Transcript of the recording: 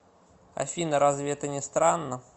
афина разве это не странно